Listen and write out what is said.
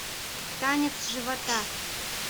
танец живота